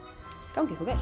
gangi ykkur vel